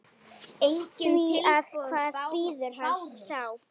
Því hvað bíður hans þá?